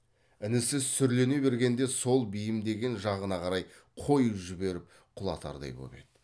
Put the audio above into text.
інісі сүрлене бергенде сол бейімдеген жағына қарай қойып жіберіп құлатардай боп еді